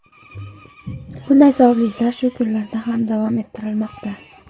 Bunday savobli ishlar shu kunlarda ham davom ettirilmoqda.